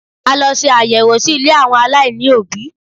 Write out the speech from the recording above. A lọ ṣe àyẹ̀wò sí ilé àwọn aláìní òbí.